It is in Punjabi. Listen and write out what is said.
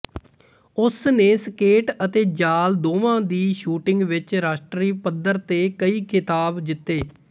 ਉਸ ਨੇ ਸਕੇਟ ਅਤੇ ਜਾਲ ਦੋਵਾਂ ਦੀ ਸ਼ੂਟਿੰਗ ਵਿਚ ਰਾਸ਼ਟਰੀ ਪੱਧਰ ਤੇ ਕਈ ਖਿਤਾਬ ਜਿੱਤੇ